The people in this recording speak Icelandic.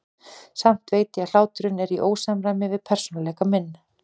Samt veit ég að hláturinn er í ósamræmi við persónuleika minn.